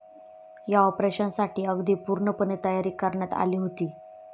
या ऑपरेशनसाठी अगदी पूर्णपणे तयारी करण्यात आली होती.